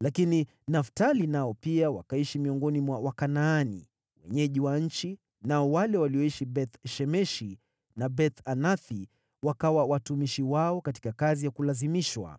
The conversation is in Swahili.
lakini Naftali nao pia wakaishi miongoni mwa Wakanaani, wenyeji wa nchi, nao wale walioishi Beth-Shemeshi na Beth-Anathi wakawa watumishi wao katika kazi ya kulazimishwa.